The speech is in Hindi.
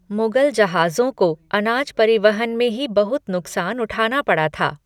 मुगल जहाज़ों को अनाज परिवहन में ही बहुत नुकसान उठाना पड़ा था।